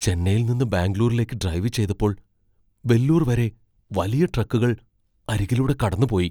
ചെന്നൈയിൽ നിന്ന് ബാംഗ്ലൂരിലേക്ക് ഡ്രൈവ് ചെയ്തപ്പോൾ വെല്ലൂർ വരെ വലിയ ട്രക്കുകൾ അരികിലൂടെ കടന്നുപോയി.